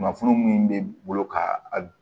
Kunnafoni min bɛ bolo ka a